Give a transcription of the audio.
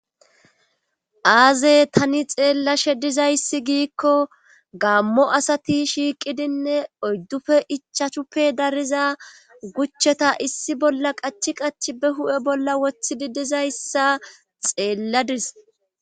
Aaze tani xeellashe diza issi giikko gammo asati shiiqidinne oydduppe ichashuppe dariza gucheta issi bolla qachi qachi ba huphphe bolla woththidi diza issa xeella days.